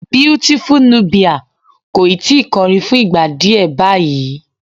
Beautiful Nubia kò ì tí ì kọrin fún ìgbà díẹ̀ báyìí.